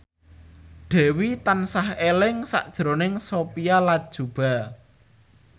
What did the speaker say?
Dewi tansah eling sakjroning Sophia Latjuba